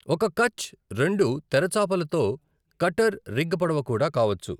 ఒక కచ్ రెండు తెర చాపలతో కట్టర్ రిగ్ పడవ కూడా కావచ్చు.